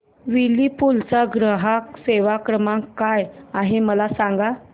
Whirlpool चा ग्राहक सेवा क्रमांक काय आहे मला सांग